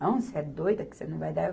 Não, você é doida, que você não vai dar.